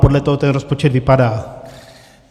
Podle toho ten rozpočet vypadá.